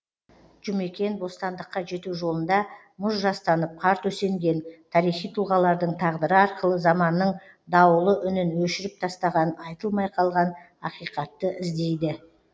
жұмекен бостандыққа жету жолында мұз жастанып қар төсенген тарихи тұлғалардың тағдыры арқылы заманның дауылы үнін өшіріп тастаған айтылмай қалған ақиқатты іздейді